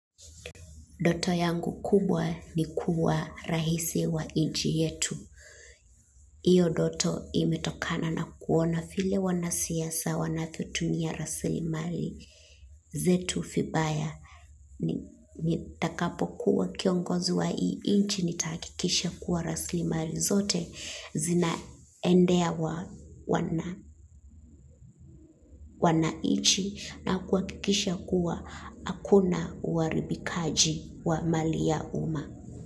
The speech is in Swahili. Ndoto yangu kubwa ni kuwa rahisi wa inchi yetu. Iyo doto imetokana na kuona file wanasiasa wanavyotumia raslimali zetu fibaya. Nitakapo kuwa kiongozi wa hii inchi nitahakikisha kuwa raslimali zote zinaendea wanaichi na kuhakikisha kuwa hakuna uharibikaji wa mali ya uma.